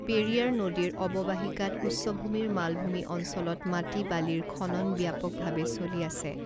পেৰিয়াৰ নদীৰ অৱবাহিকাত উচ্চভূমিৰ মালভূমি অঞ্চলত মাটি বালিৰ খনন ব্যাপকভাৱে চলি আছে।